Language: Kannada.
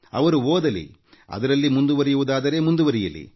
ಅವರು ಓದಲೂ ಬೇಕು ಅದರಲ್ಲಿ ಮುಂದುವರಿಯುವುದಾದರೆ ಮುಂದುವರಿಯಲಿ